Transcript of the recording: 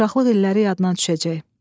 Uşaqlıq illəri yadına düşəcək.